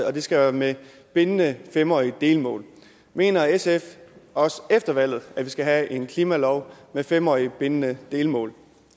at det skal være med bindende fem årige delmål mener sf også efter valget at vi skal have en klimalov med fem årige bindende delmål